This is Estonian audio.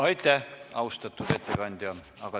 Aitäh, austatud ettekandja!